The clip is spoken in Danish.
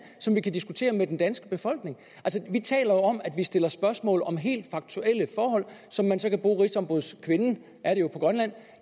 som vi kan diskutere med den danske befolkning vi taler jo om at vi stiller spørgsmål om helt faktuelle forhold som man så kan bruge rigsombudskvinden er det jo på grønland